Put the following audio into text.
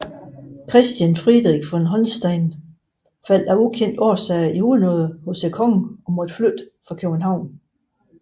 Christian Friderich von Holstein faldt af ukendte årsager i unåde hos kongen og måtte flytte fra København